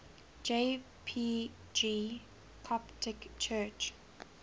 jpg coptic church